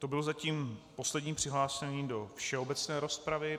To byl zatím poslední přihlášený do všeobecné rozpravy.